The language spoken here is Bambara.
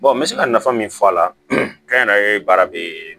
n bɛ se ka nafa min fɔ a la kɛnyɛrɛye baara bɛ